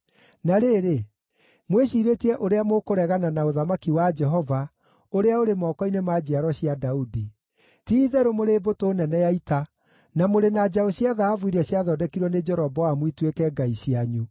“Na rĩrĩ, mwĩciirĩtie ũrĩa mũkũregana na ũthamaki wa Jehova, ũrĩa ũrĩ moko-inĩ ma njiaro cia Daudi. Ti-itherũ mũrĩ mbũtũ nene ya ita, na mũrĩ na njaũ cia thahabu iria ciathondekirwo nĩ Jeroboamu ituĩke ngai cianyu.